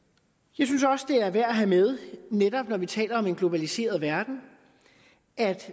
jeg synes også det er værd at have med netop når vi taler om en globaliseret verden at